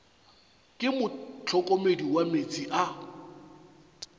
ke mohlokomedi wa meetse a